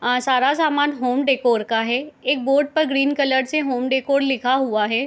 अ सारा सामान home decor का है | एक बोर्ड पर ग्रीन कलर से होम डीकोर लिखा हुआ है |